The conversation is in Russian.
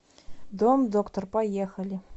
домдоктор поехали